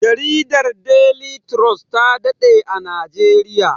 Jaridar deli turos ta daɗe a najeriya